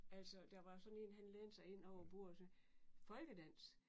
Altså der var sådan en han lænede sig ind over bordet og sagde folkedans?